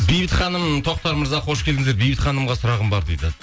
бейбіт ханым тоқтар мырза қош келдіңіздер бейбіт ханымға сұрағым бар дейді